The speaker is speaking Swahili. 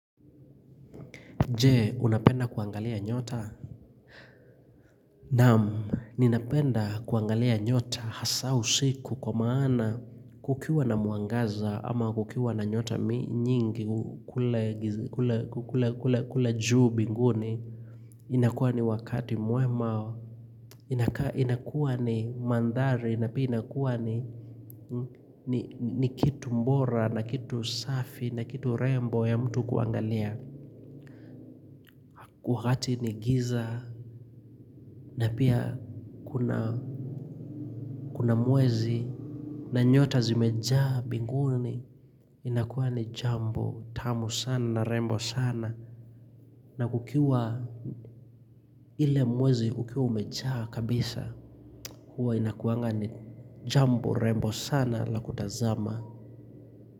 Je, unapenda kuangalia nyota? Naam, ninapenda kuangalia nyota hasa usiku kwa maana kukiwa na mwangaza ama kukiwa na nyota nyingi kule juu mbinguni. Inakuwa ni wakati mwema, inakuwa ni mandhari na pia inakuwa ni kitu bora, na kitu safi, na kitu rembo ya mtu kuangalia. Wakati ni giza na pia kuna mwezi na nyota zimejaa mbinguni inakuwa ni jambo tamu sana na rembo sana, na kukiwa ile mwezi ukiwa umejaa kabisa huwa inakuwanga ni jambo rembo sana la kutazama.